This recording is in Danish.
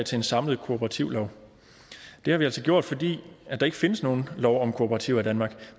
til en samlet kooperativlov det har vi altså gjort fordi der ikke findes nogen lov om kooperativer i danmark